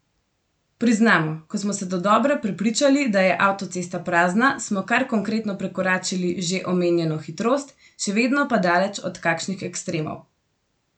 Priznamo, ko smo se dodobra prepričali, da je avtocesta prazna, smo kar konkretno prekoračili že omenjeno hitrost, še vedno pa daleč od kakšnih ekstremov.